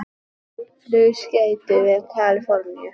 Flugskeyti við Kalíforníu